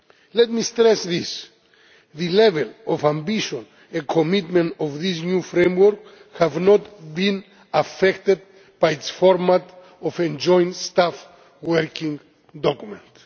Let me stress this the level of ambition and commitment of this new framework have not been affected by its format as a joint staff working document.